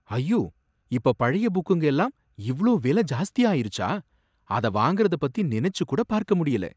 ஐயோ! இப்ப பழைய புக்குங்க எல்லாம் இவ்ளோ வில ஜாஸ்தியா ஆயிருச்சா! அத வாங்கறத பத்தி நினைச்சு கூட பார்க்க முடியல.